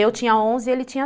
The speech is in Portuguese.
Eu tinha onze e ele tinha